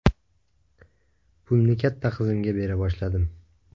Pulni katta qizimga bera boshladim.